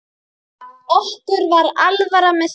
Okkur var alvara með því.